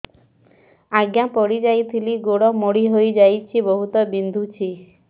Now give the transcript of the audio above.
ଆଜ୍ଞା ପଡିଯାଇଥିଲି ଗୋଡ଼ ମୋଡ଼ି ହାଇଯାଇଛି ବହୁତ ବିନ୍ଧୁଛି